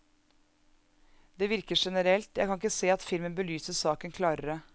Det virker generelt, jeg kan ikke se at filmen belyser saken klarere.